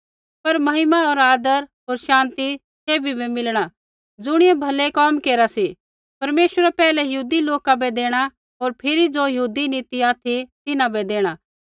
पर महिमा होर आदर होर शान्ति सैभी बै मिलणा ज़ुणियै भलै कोम केरा सा परमेश्वरै पैहलै यहूदी लोका बै देणा होर फिरी ज़ो यहूदी नी ती ऑथि तिन्हां बै देणा